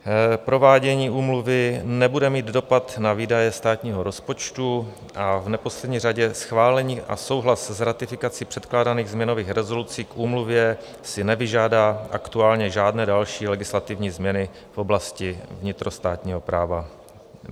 Provádění úmluvy nebude mít dopad na výdaje státního rozpočtu a v neposlední řadě schválení a souhlas s ratifikací předkládaných změnových rezolucí k úmluvě si nevyžádá aktuálně žádné další legislativní změny v oblasti vnitrostátního práva.